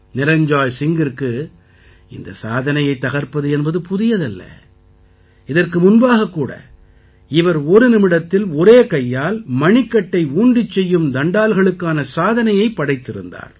நிரஞ்ஜாய் சிங்கிற்கு இந்தச் சாதனையைத் தகர்ப்பது என்பது புதியது அல்ல இதற்கு முன்பாகக் கூட இவர் ஒரு நிமிடத்தில் ஒரே கையால் மணிக்கட்டை ஊன்றிச் செய்யும் தண்டால்களுக்கான சாதனையை படைத்திருந்தார்